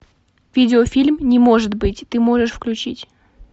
видеофильм не может быть ты можешь включить